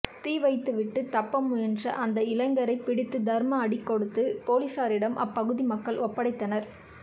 தீவைத்துவிட்டு தப்ப முயன்ற அந்த இளைஞரை பிடித்து தர்ம அடி கொடுத்து போலீசாரிடம் அப்பகுதி மக்கள் ஒப்படைத்தனர்